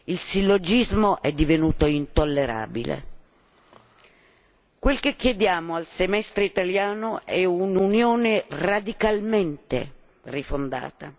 Il sillogismo è divenuto intollerabile. Quel che chiediamo al Semestre italiano è un'Unione radicalmente rifondata.